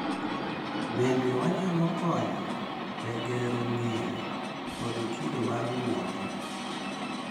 Bende, nyalo konyo e gero ng’eyo kod kido mar ng’uono.